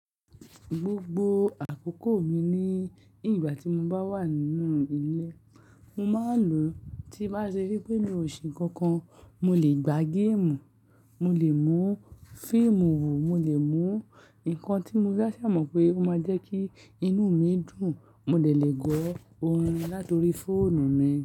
Gbogbo àkókò mi ní ìgbà tí mo bá wà nínú ilé, mo máa ń lo. Tí bá ṣe wípé mi ò ṣe nǹkan kan, mo lè gbá géèmù, mo lè mú fíìmù wò, mo lè mú ǹkan tí mo rí ṣà mọ̀ pé ó máa jẹ́ kí inú mi dùn, mo lè lè gọ́ orin láti orí fóònù mi.